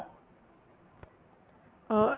ਅਹ